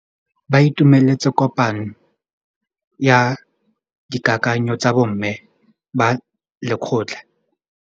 Ba itumeletse kôpanyo ya dikakanyô tsa bo mme ba lekgotla.